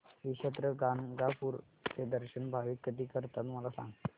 श्री क्षेत्र गाणगापूर चे दर्शन भाविक कधी करतात मला सांग